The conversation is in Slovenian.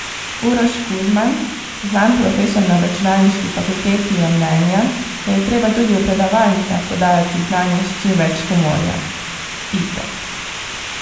Uroš Kuzman, znan profesor na računalniški fakulteti, je mnenja, da je treba tudi v predavalnicah podajati znanje s čim več humorja: 'Itak.